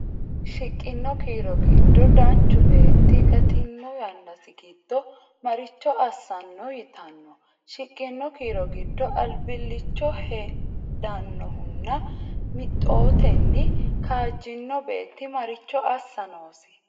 Shiqqino kiiro giddo danchu beetti gattino yannasi giddo maricho assanno yitanno ? Shiqqino kiiro giddo albillicho hedannohunna mixotenni kaajjino beetti maricho assa noosi?